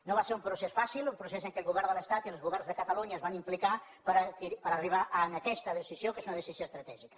no va ser un procés fàcil un procés en què el govern de la generalitat i els governs de catalunya es van implicar per arribar a aquesta decisió que és una decisió estratègica